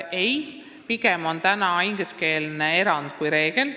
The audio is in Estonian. Ei, pigem on täna ingliskeelsus erand kui reegel.